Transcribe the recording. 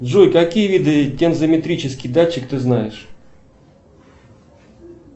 джой какие виды тензометрический датчик ты знаешь